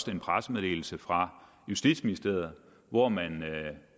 en pressemeddelelse fra justitsministeriet hvori man